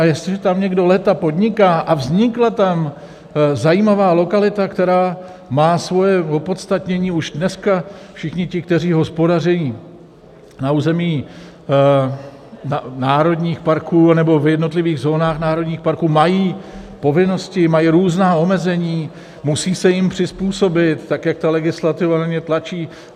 A jestliže tam někdo léta podniká a vznikla tam zajímavá lokalita, která má svoje opodstatnění už dneska, všichni ti, kteří hospodaří na území národních parků nebo v jednotlivých zónách národních parků, mají povinnosti, mají různá omezení, musí se jim přizpůsobit tak, jak ta legislativa na ně tlačí.